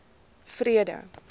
vrede